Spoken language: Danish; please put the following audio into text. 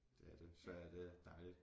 Det er det Sverige det er dejligt